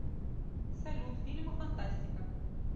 салют фильмы фантастика